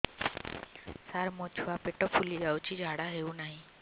ସାର ମୋ ଛୁଆ ପେଟ ଫୁଲି ଯାଉଛି ଝାଡ଼ା ହେଉନାହିଁ